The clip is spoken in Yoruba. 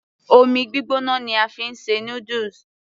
omi gbígbóná ni a fi ń ṣe noodles